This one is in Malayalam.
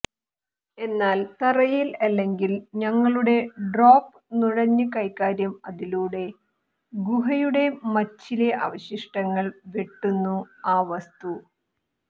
എന്നാൽ തറയിൽ അല്ലെങ്കിൽ ഞങ്ങളുടെ ഡ്രോപ്പ് നുഴഞ്ഞു കൈകാര്യം അതിലൂടെ ഗുഹയുടെ മച്ചിലെ അവശിഷ്ടങ്ങൾ വെട്ടുന്നു ആ വസ്തു